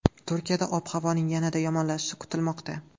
Turkiyada ob-havoning yanada yomonlashishi kutilmoqda.